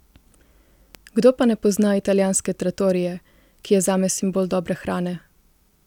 Kdo pa ne pozna italijanske trattorie, ki je zame simbol dobre hrane?